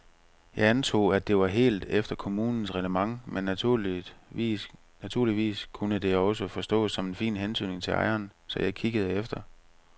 Jeg antog, at det var helt efter kommunens reglement men naturligvis kunne det også forstås som en fin hentydning til ejeren, så jeg kiggede efter.